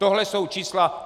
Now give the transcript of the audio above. Tohle jsou čísla.